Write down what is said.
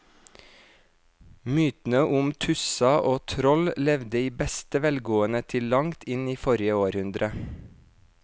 Mytene om tusser og troll levde i beste velgående til langt inn i forrige århundre.